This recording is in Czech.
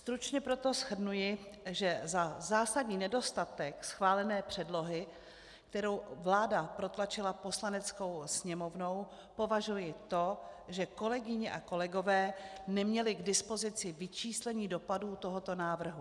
Stručně proto shrnuji, že za zásadní nedostatek schválené předlohy, kterou vláda protlačila Poslaneckou sněmovnou, považuji to, že kolegyně a kolegové neměli k dispozici vyčíslení dopadů tohoto návrhu.